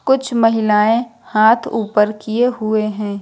कुछ महिलाएं हाथ ऊपर किए हुए हैं।